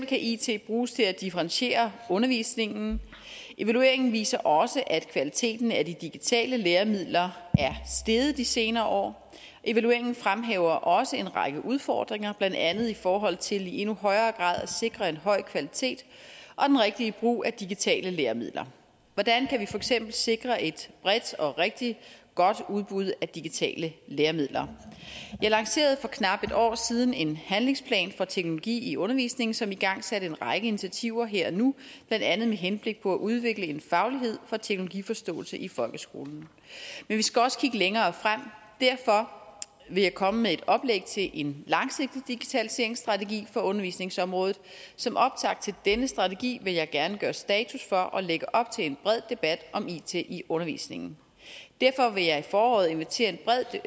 kan it bruges til at differentiere undervisningen evalueringen viser også at kvaliteten af de digitale læringsmidler er steget de senere år evalueringen fremhæver også en række udfordringer blandt andet i forhold til i endnu højere grad at sikre en høj kvalitet og den rigtige brug af digitale læringsmidler hvordan kan vi eksempel sikre et bredt og rigtig godt udbud digitale læringsmidler vi lancerede for knap et år siden en handlingsplan for teknologi i undervisningen som igangsatte en række initiativer her og nu blandt andet med henblik på at udvikle en faglighed for teknologiforståelse i folkeskolen men vi skal også kigge længere frem derfor vil jeg komme med et oplæg til en langsigtet digitaliseringsstrategi på undervisningsområdet som optakt til denne strategi vil jeg gerne gøre status for og lægge op til en bred debat om it i undervisningen derfor vil jeg i foråret invitere